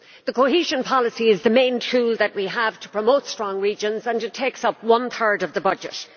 The cohesion policy is the main tool that we have to promote strong regions, and it takes up one third of the budget.